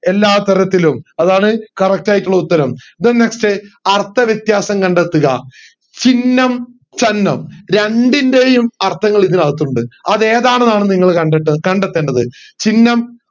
എല്ലാതരത്തിലും അതാണ് correct ആയിട്ടുള്ള ഉത്തരം then next അർത്ഥവ്യത്യാസം കണ്ടെത്തുക ചിഹ്നം ചന്നം രണ്ടിൻറെയും അർഥങ്ങൾ ഇതിനകത്തുണ്ട് അത് ഏതാണെന്നാണ് നിങ്ങൾ കണ്ടേട്ട കണ്ടെത്തേണ്ടത് ചിഹ്നം